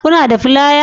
Kuna da fliers